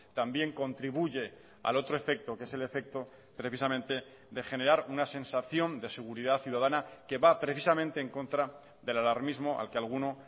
también contribuye al otro efecto que es el efecto precisamente de generar una sensación de seguridad ciudadana que va precisamente en contra del alarmismo al que alguno